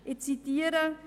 Es steht: